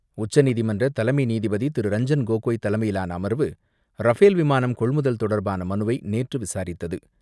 உச்சநீதிமன்ற தலைமை நீதிபதி திரு ரஞ்சன் கோகோய் தலைமையிலான அமர்வு ரஃபேல் விமானம் கொள்முதல் தொடர்பான மனுவை நேற்று விசாரித்தது.